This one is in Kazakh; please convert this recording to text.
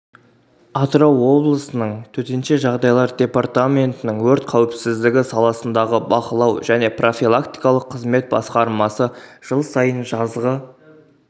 атырау облысының төтенше жағдайлар департаментінің өрт қауіпсіздігі саласындағы бақылау және профилактикалық қызмет басқармасы жыл сайын жазғы